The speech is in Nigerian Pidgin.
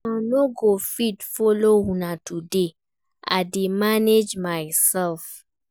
I no go fit follow una today, I dey manage myself